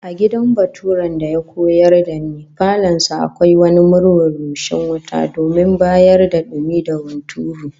A gidan baturen da ya koyar da ni, falon sa akwai wani murhun rushing wuta domin bayar da dumi da hunturu